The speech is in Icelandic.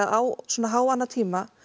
á svona háanna tíma